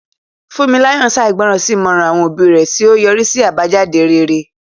Funmilayo ṣègbọràn sí ìmọ̀ràn àwọn òbí rẹ̀, tí ó yọrí sí àbájáde rere.